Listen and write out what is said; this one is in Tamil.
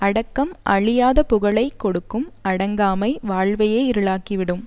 அடக்கம் அழியாத புகழை கொடுக்கும் அடங்காமை வாழ்வையே இருளாக்கி விடும்